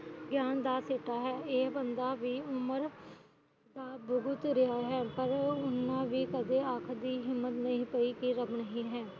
ਗਿਆਨ ਦਾ ਸਿੱਟਾ ਹੈ ਇਹ ਬੰਦਾ ਵੀ ਉਮਰ ਦਾ ਭੁਗਤ ਰਿਹਾ ਹੈ ਪਰ ਉਹਨਾਂ ਵੀ ਕਦੇ ਆਖਣ ਦੀ ਹਿੱਮਮਤ ਨਹੀਂ ਪਾਈ ਕਿ ਰੱਬ ਨਹੀਂ ਹੈ